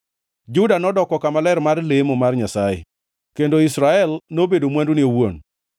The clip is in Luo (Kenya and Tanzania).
Juda nodoko kama ler mar lemo mar Nyasaye, kendo Israel nobedo mwandune owuon.